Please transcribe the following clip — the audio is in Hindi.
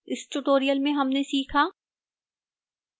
इस tutorial में हमने सीखा: